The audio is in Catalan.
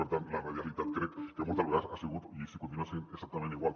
per tant la radialitat crec que moltes vegades hi ha sigut i hi continua sent exactament igual